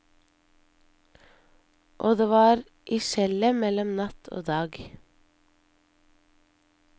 Og det var i skjellet mellom natt og dag.